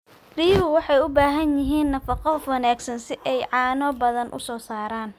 Riyuhu waxay u baahan yihiin nafaqo wanaagsan si ay caano badan u soo saaraan.